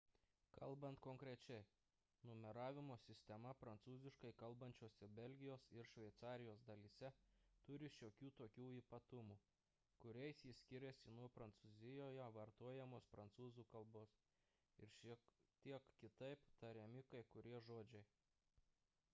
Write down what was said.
kalbant konkrečiai numeravimo sistema prancūziškai kalbančiose belgijos ir šveicarijos dalyse turi šiokių tokių ypatumų kuriais ji skiriasi nuo prancūzijoje vartojamos prancūzų k ir šiek tiek kitaip tariami kai kurie žodžiai